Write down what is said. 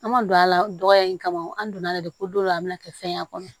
An ma don a la dɔgɔya in kama an donn'a la de ko don a bɛna kɛ fɛn ye a kɔnɔ